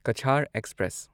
Cachar express